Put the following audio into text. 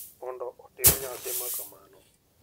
mondo otim nyasi ma kamano,